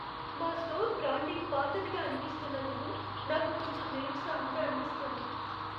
మా store branding పాతదిగా అనిపిస్తున్నందుకు నాకు కొంచెం నిరుత్సాహంగా అనిపిస్తుంది.